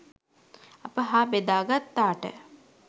අප හා බෙදා ගත්තාට